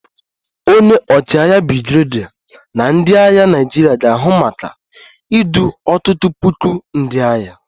Onye ọchịagha brigadier na ndị agha Naịjirịa ga-ahụ maka idu ọtụtụ puku ndị agha